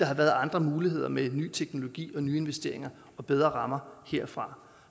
har været andre muligheder med ny teknologi nyinvesteringer og bedre rammer herfra